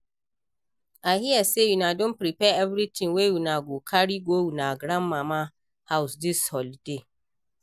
I hear say una don prepare everything wey una go carry go una grandma house dis holiday